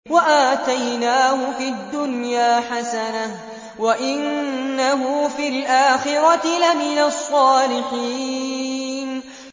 وَآتَيْنَاهُ فِي الدُّنْيَا حَسَنَةً ۖ وَإِنَّهُ فِي الْآخِرَةِ لَمِنَ الصَّالِحِينَ